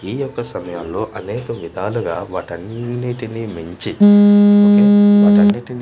ఈ యొక్క సమయంలో అనేక విధాలుగా వాటన్నిటిని మించి ఒకే వాటన్నిటిని మించి.